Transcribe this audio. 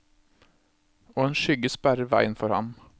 Og en skygge sperrer veien for ham.